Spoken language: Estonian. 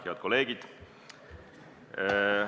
Head kolleegid!